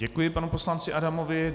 Děkuji panu poslanci Adamovi.